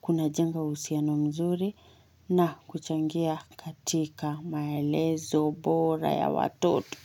kuna jenga uhusiano mzuri na kuchangia katika maelezo bora ya watoto.